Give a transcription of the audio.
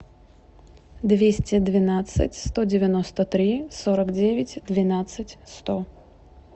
двести двенадцать сто девяносто три сорок девять двенадцать сто